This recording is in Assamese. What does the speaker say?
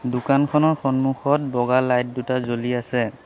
দোকানখনৰ সন্মুখত বগা লাইট দুটা জ্বলি আছে।